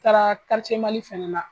Taara Karitiye Mali fɛnɛ na.